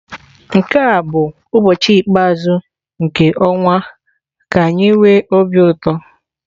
Nke a bụ ụbọchị ikpeazụ nke ọnwa ka anyi nwe obi ụtọ.